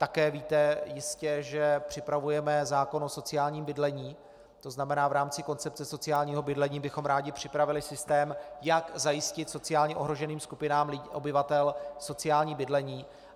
Také jistě víte, že připravujeme zákon o sociálním bydlení, to znamená v rámci koncepce sociálního bydlení bychom rádi připravili systém, jak zajistit sociálně ohroženým skupinám obyvatel sociální bydlení.